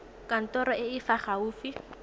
kantorong e e fa gaufi